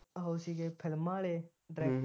ਉਹ ਸੀਗੇ ਫਿਲਮਾਂ ਵਾਲੇ ਡਾਇਰੈਕਟਰ